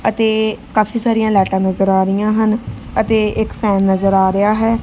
ਅਤੇ ਕਾਫੀ ਸਾਰੀਆਂ ਲਾਈਟਾਂ ਨਜ਼ਰ ਆ ਰਹੀਆਂ ਹਨ ਅਤੇ ਇੱਕ ਸਾਊਂਡ ਨਜ਼ਰ ਆ ਰਿਹਾ ਹੈ।